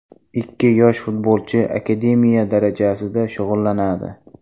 Ikki yosh futbolchi akademiya darajasida shug‘ullanadi.